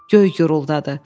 Göy guruldadı.